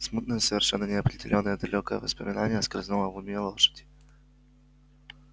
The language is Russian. смутное совершенно неопределённое далёкое воспоминание скользнуло в уме лошади